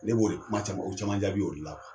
Ne b'o kuma caman o caman jaabi o de la..